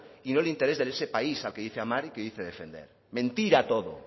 y no el interés de ese país al que dice amar y que dice defender mentira todo